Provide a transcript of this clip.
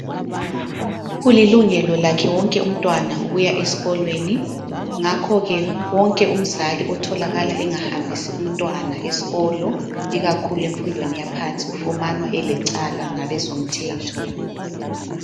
Kulilungelo lakhe wonke umntwana ukuya esikolweni ngakhoke wonke umzali otholakala engahambisi umntwana esikolo ikakhulu emfundweni yaphansi ufumanwa elecala ngabezomthetho.